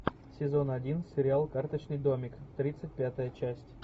сезон один сериал карточный домик тридцать пятая часть